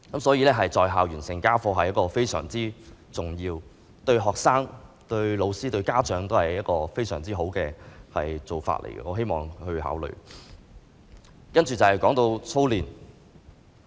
所以，"在校完成家課"是非常重要的，對學生、對教師、對家長而言都是非常好的做法，我希望當局能夠考慮。